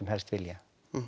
helst vilja